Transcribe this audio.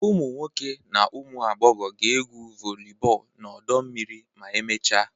Ụmụ nwoke na ụmụ agbọghọ ga-egwu volleyball na ọdọ mmiri ma emechaa